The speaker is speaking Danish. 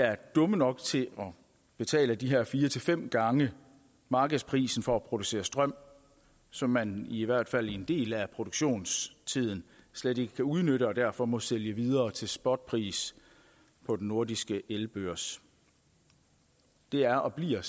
er dumme nok til at betale de her fire fem gange markedsprisen for at producere strøm som man i hvert fald i en del af produktionstiden slet ikke kan udnytte og derfor må sælge videre til spotpris på den nordiske elbørs det er og bliver